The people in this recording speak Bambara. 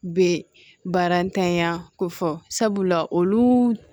Bɛ barantanya ko fɔ sabula olu